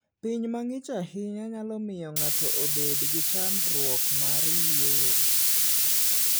Piny mang'ich ahinya nyalo miyo ng'ato obed gi chandruok mar yueyo.